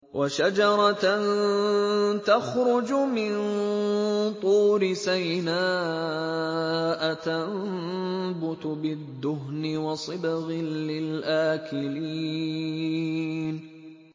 وَشَجَرَةً تَخْرُجُ مِن طُورِ سَيْنَاءَ تَنبُتُ بِالدُّهْنِ وَصِبْغٍ لِّلْآكِلِينَ